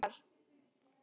Hvernig var?